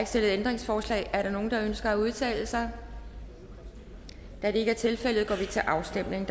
stillet ændringsforslag er der nogen der ønsker at udtale sig da det ikke er tilfældet går vi til afstemning